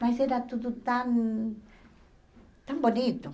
Mas era tudo tão... tão bonito.